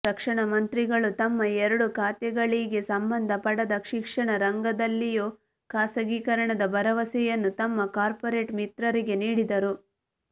ರಕ್ಷಣಾಮಂತ್ರಿಗಳು ತಮ್ಮ ಎರಡೂ ಖಾತೆಗಳಿಗೆ ಸಂಬಂಧಪಡದ ಶಿಕ್ಷಣ ರಂಗದಲ್ಲಿಯೂ ಖಾಸಗೀಕರಣದ ಭರವಸೆಯನ್ನು ತಮ್ಮ ಕಾರ್ಪೊರೇಟ್ ಮಿತ್ರರಿಗೆ ನೀಡಿದರು